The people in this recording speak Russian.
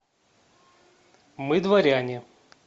мы дворяне